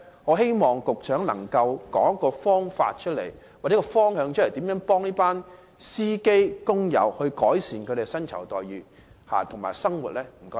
我希望局長能夠提出一個方法或方向，告訴我們如何協助這些司機工友，改善他們的薪酬待遇和生活。